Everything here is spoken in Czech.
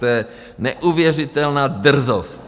To je neuvěřitelná drzost!